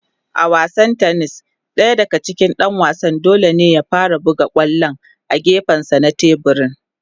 A wasan tennis .Daya daga cikin Dan wasan dole ne ya fara buga kwallon a gefensa na teburin.